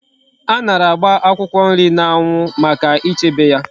Anara agba akwukwo nri na anwu Maka ichebe ya